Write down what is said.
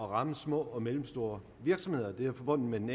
ramme små og mellemstore virksomheder det er forbundet med den